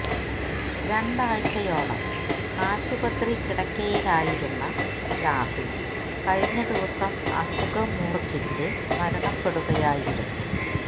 രണ്ടാഴ്ചയോളം ആശുപത്രി കിടക്കയിലായിരുന്ന രാഹുല് കഴിഞ്ഞ ദിവസം അസുഖം മൂര്ച്ഛിച്ച് മരണപ്പെടുകയായിരുന്നു